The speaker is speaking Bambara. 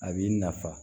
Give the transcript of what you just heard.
A b'i nafa